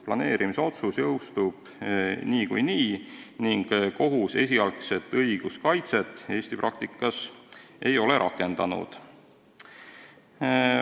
Planeerimisotsus jõustub niikuinii ning kohus esialgset õiguskaitset Eesti praktikas ei ole rakendanud.